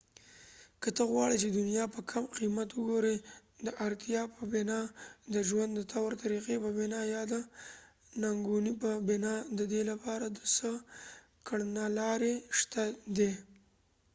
که ته غواړی چې دنیا په کم قیمت وګوری د ارتیا په بنا ،د ژوند د طور طریقی په بنا یا د ننګونی په بنا ددې لپاره څه کړنلارې شته دي